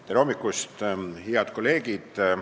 Tere hommikust, head kolleegid!